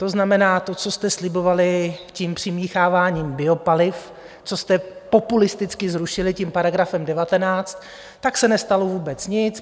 To znamená, to, co jste slibovali tím přimícháváním biopaliv, co jste populisticky zrušili tím paragrafem 19, tak se nestalo vůbec nic.